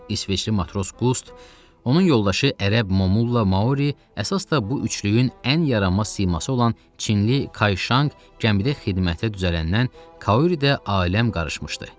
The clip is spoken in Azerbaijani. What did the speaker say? İsveçli matros Qust, onun yoldaşı ərəb Momulla Mauri, əsas da bu üçlüyün ən yaramaz siması olan çinli Kayşanq gəmidə xidmətə düzələndən Kauridə aləm qarışmışdı.